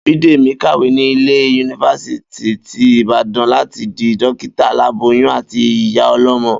Bídèmí ń kàwé ní ilé Yunifásítì ti Ìbàdàn láti di dókítà aláboyín àti iyá o̩ló̩mo̩